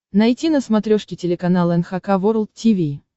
найти на смотрешке телеканал эн эйч кей волд ти ви